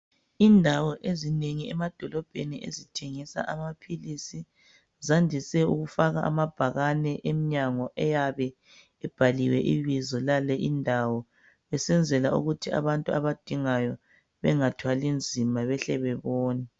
Indawo ezinengi emadolobheni ezithengisa amaphilizi zandise ukufaka amabhakani emnyango ayabe ebhaliwe ibizo yale indawo besenzela ukuthi abantu abadingayo leyo indawo bebone.